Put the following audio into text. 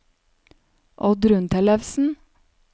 Oddrun Tellefsen